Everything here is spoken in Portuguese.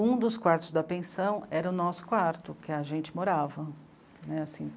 Um dos quartos da pensão era o nosso quarto, que a gente morava. Né? Assim